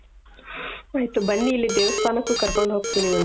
ಆಯ್ತು ಬನ್ನಿ ಇಲ್ಲಿ ದೇವಸ್ಥಾನಕ್ಕೂ ಕರ್ಕೊಂಡ್ ಹೋಗ್ತೀನಿ ಒಂದ್ ದಿನ